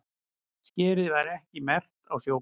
Skerið var ekki merkt á sjókort